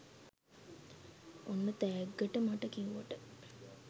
ඔන්න තෑග්ගට මට කිව්වට